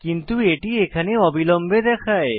কিন্তু এটি এখানে অবিলম্বে দেখায়